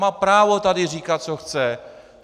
Má právo tady říkat, co chce.